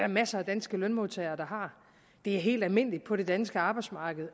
masser af danske lønmodtagere der har det er helt almindeligt på det danske arbejdsmarked